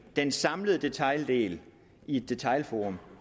den samlede detaildel i et detailforum